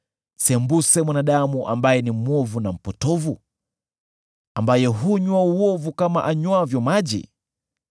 sembuse mwanadamu ambaye ni mwovu na mpotovu, ambaye hunywa uovu kama anywavyo maji!